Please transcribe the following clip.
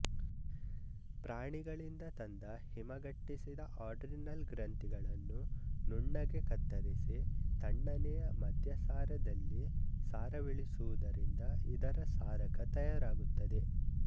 ಪ್ರಾಣಿಗಳಿಂದ ತಂದ ಹಿಮಗಟ್ಟಿಸಿದ ಅಡ್ರಿನಲ್ ಗ್ರಂಥಿಗಳನ್ನು ನುಣ್ಣಗೆ ಕತ್ತರಿಸಿ ತಣ್ಣನೆಯ ಮದ್ಯಸಾರದಲ್ಲಿ ಸಾರವಿಳಿಸುವುದರಿಂದ ಇದರ ಸಾರಕ ತಯಾರಾಗುತ್ತದೆ